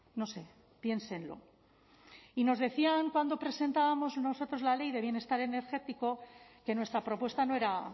no sé piénsenlo y nos decían cuando presentábamos nosotros la ley de bienestar energético que nuestra propuesta no era